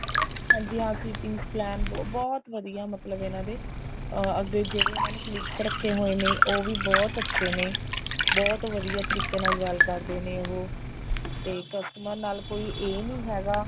ਹਾਂਜੀ ਹਾਂ sitting plan ਬਹੁਤ ਵਧੀਆ ਇਹਨਾ ਦੇ ਅੱਗੇ ਜਿਹੜੇ ਇਹਨਾ ਨੇ colleagues ਰੱਖੇ ਹੋਏ ਨੇ ਉਹ ਵੀ ਬਹੁਤ ਅੱਛੇ ਨੇ ਬਹੁਤ ਵਧੀਆ ਤਰੀਕੇ ਨਾਲ ਗੱਲ ਕਰਦੇ ਨੇ ਉਹ ਤੇ customer ਨਾਲ ਕੋਈ ਏ ਨਹੀਂ ਹੈਗਾ